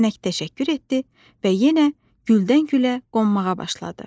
Kəpənək təşəkkür etdi və yenə güldən gülə qonmağa başladı.